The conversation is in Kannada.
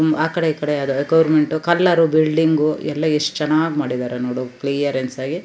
ಉಹ್ ಆಕಡೆ ಈಕಡೆ ಅದ್ ಆಕ್ಸ್ಯ್ಯರ್ ಗೋರ್ಮೆಂಟ್ ಕಲರು ಬಿಲ್ಡಿಂಗ್ ಗು ಎಲ್ಲಾ ಎಷ್ಟ ಚನ್ನಾಗಿ ಮಾಡಿದರೆ ನೋಡು ಕ್ಲಿಯರೆನ್ಸ್ ಆಗಿ.